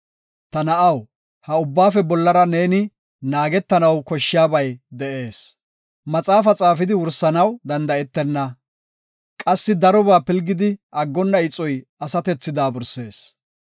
Ta na7aw, ha ubbaafe bollara neeni naagetanaw koshshiyabay de7ees. Maxaafa xaafidi wursanaw danda7etenna. Qassi darobaa pilgidi aggonna ixoy asatethi daabursees.